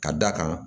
Ka d'a kan